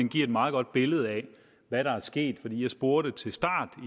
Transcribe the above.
giver et meget godt billede af hvad der er sket jeg spurgte